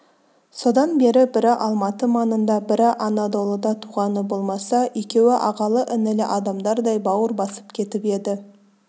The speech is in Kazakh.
содан бері бірі алматы маңында бірі анадолыда туғаны болмаса екеуі ағалы-інілі адамдардай бауыр басып кетіп еді